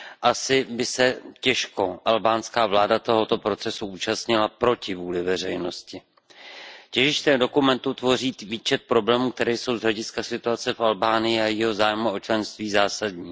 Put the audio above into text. Asi by se těžko albánská vláda tohoto procesu účastnila proti vůli veřejnosti. Těžiště dokumentu tvoří výčet problémů, které jsou z hlediska situace v Albánii a jejího zájmu o členství zásadní.